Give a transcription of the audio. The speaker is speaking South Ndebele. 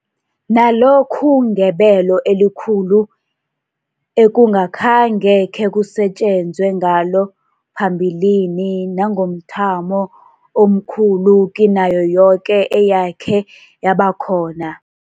nalokhu ngebelo elikhulu ekungakhange khekusetjenzwe ngalo phambilini nangomthamo omkhulu kinayo yoke eyakhe yabakhona.